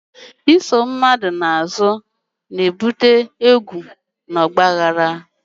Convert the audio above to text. Isochie mmadu na-ebute egwu na ọgba aghara nke ime.